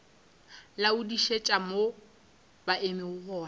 laodišetša mo ba emego gona